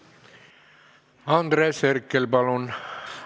Andres Herkel, palun!